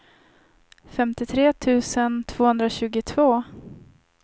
femtiotre tusen tvåhundratjugotvå